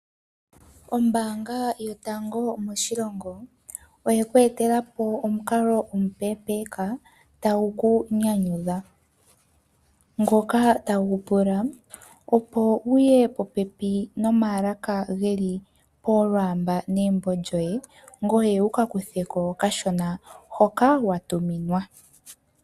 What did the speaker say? Ombaanga yotango moshilongo oye kweetela po omukalo omupepeeka tagu ku nyanyudha, ngoka tagu pula opo wuye popepi nomaalaka geli polwaamba negumbo lyoye ngoye wuka kutheko okashona hoka wa tuminwa.